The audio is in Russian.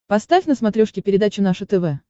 поставь на смотрешке передачу наше тв